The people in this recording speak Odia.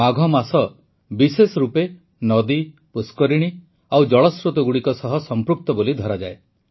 ମାଘ ମାସ ବିଶେଷ ରୂପେ ନଦୀ ପୁଷ୍କରିଣୀ ଓ ଜଳସ୍ରୋତଗୁଡ଼ିକ ସହ ସଂପୃକ୍ତ ବୋଲି ଧରାଯାଏ